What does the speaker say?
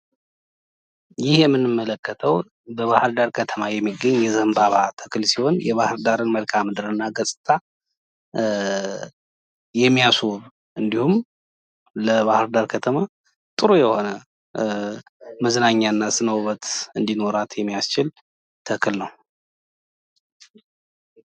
ይህ የምንመለከተው በባህርዳር ከተማ የሚገኝ የዘንባባ ተክል ሲሆን የባህርዳርን መልከአ ምድር እና ገጽታ የሚያስውብ እንዲሁም ለባህርዳር ከተማ ጥሩ የሆነ መዝናኛ እና ስነ ውበት እንዲኖራት የሚያስችል ተክል ነው።